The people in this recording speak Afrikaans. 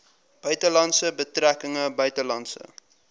buitelandse betrekkinge buitelandse